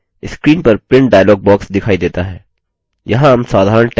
screen पर print dialog box दिखाई देता है